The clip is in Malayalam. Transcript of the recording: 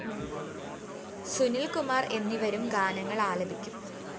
സുനില്‍കുമാര്‍ എന്നിവരും ഗാനങ്ങള്‍ ആലപിക്കും